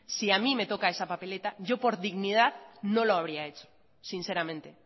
si a mí me toca esa papeleta yo por dignidad no lo habría hecho sinceramente